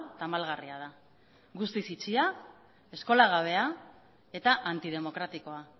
tamalgarria da guztiz itxia eskolagabea eta antidemokratikoa